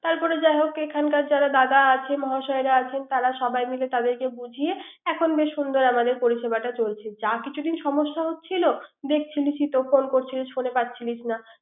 তারপরে যাই হোক এখানকার দাদা আছে মহাশয়রা আছে তার সাবাই মিলে তাদেরকে বুঝিয়ে এখন বেশ সুন্দর পরিসেবাটা করছেন। যা কিছু দিন সমস্যা হচ্ছিল প্রকল্প সুইচ ফোনে কাটছিল কিনা